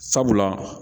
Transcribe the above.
Sabula